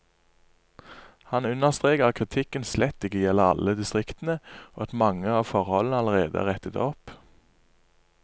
Han understreker at kritikken slett ikke gjelder alle distriktene, og at mange av forholdene allerede er rettet opp.